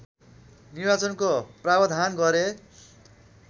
निर्वाचनको प्रावधान गरे